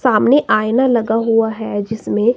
सामने आईना लगा हुआ है जिसमें--